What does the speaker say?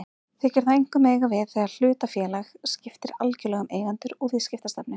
Þykir það einkum eiga við þegar hlutafélag skiptir algjörlega um eigendur og viðskiptastefnu.